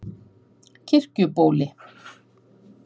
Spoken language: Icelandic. Kirkjubóli